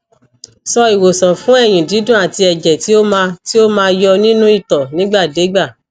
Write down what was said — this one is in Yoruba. so iwosan fun eyin didun at eje ti o ma ti o ma yo ninu ito nigba de igba